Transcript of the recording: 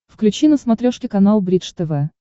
включи на смотрешке канал бридж тв